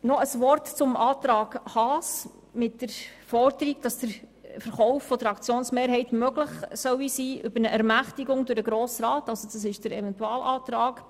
Noch ein Wort zum Eventualantrag Haas mit der Forderung, dass der Verkauf der Aktienmehrheit aufgrund einer Ermächtigung durch den Grossen Rat möglich sein soll.